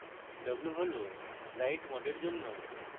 w হল write mode এর জন্য